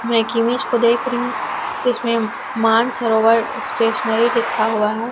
मैं एक इमेज को देख रहीं हूॅं इसमें मानसरोवर स्टेशनरी लिखा हुआ है।